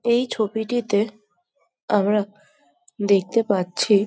এই ছবিটিতে আমরা দেখতে পাচ্ছি --